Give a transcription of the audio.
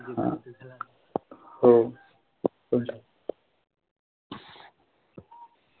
हो.